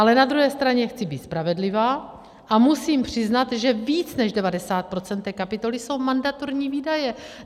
Ale na druhé straně chci být spravedlivá a musím přiznat, že víc než 90 % té kapitoly jsou mandatorní výdaje.